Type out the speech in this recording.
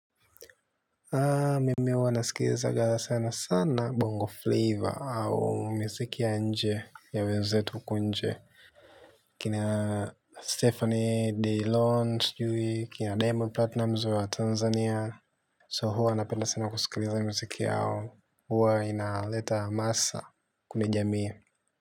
Mimi huwa nasikilizaga sana sana bongo flavor au miziki ya nje ya wenzetu huko nje. Kina Stephanie Delon sujui kina Diamond Platinumz wa Tanzania So huwa anapenda sana kusikiliza mziki yao huwa inaleta maasa kwenye jamii.